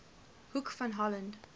hoek van holland